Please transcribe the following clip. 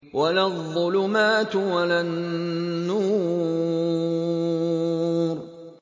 وَلَا الظُّلُمَاتُ وَلَا النُّورُ